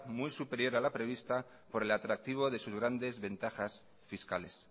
muy superior a la prevista por el atractivo de sus grandes ventajas fiscales